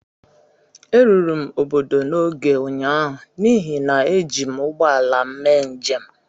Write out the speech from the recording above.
Eruru m obodo n'oge ụnyahụ n'ihi na eji m ụgbọ ala m mee njem